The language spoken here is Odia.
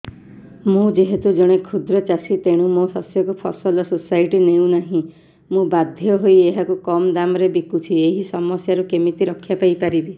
ମୁଁ ଯେହେତୁ ଜଣେ କ୍ଷୁଦ୍ର ଚାଷୀ ତେଣୁ ମୋ ଶସ୍ୟକୁ ଫସଲ ସୋସାଇଟି ନେଉ ନାହିଁ ମୁ ବାଧ୍ୟ ହୋଇ ଏହାକୁ କମ୍ ଦାମ୍ ରେ ବିକୁଛି ଏହି ସମସ୍ୟାରୁ କେମିତି ରକ୍ଷାପାଇ ପାରିବି